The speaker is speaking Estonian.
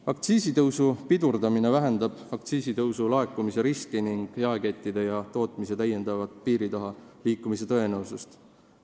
Aktsiisitõusu pidurdamine vähendab aktsiisilaekumise vähenemise riski ning jaekettide ja tootmise täiendava piiri taha liikumise tõenäosust.